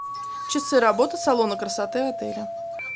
часы работы салона красоты отеля